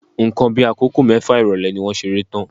Nǹkan bí akoko mẹfa irọlẹ ni wọ́n ṣeré tán.